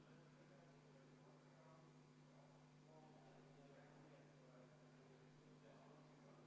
Täna teeb Sotsiaaldemokraatliku Erakonna fraktsioon ettepaneku see eelnõu esimesel lugemisel tagasi lükata.